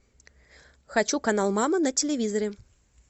хочу канал мама на телевизоре